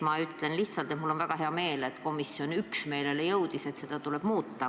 Ma ütlen lihtsalt, et mul on väga hea meel, et komisjon jõudis üksmeelele, et seda tuleb muuta.